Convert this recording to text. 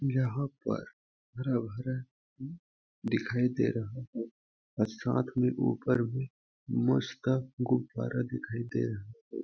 यहाँ पर हरा भरा दिखाई दे रहा है साथ में ऊपर भी मस्त गुब्बारा दिखाई दे रहा हैं।